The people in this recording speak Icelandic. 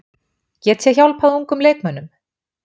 Get ég hjálpað ungum leikmönnum?